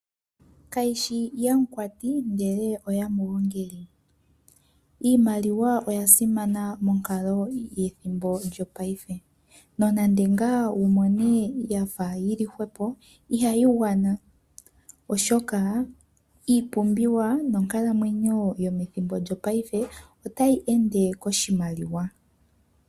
Kayishi yamukwati, ihe oya muungile. Iimaliwa oya simana monkalo yethimbo lyongashingeyi. Nonando ngaa wumone yafa yili hwepo, ihayi gwana oshoka, iipumbiwa nonkalamwenyo methimbo lyongashingeyi otayi ende omolwa oshimaliwa.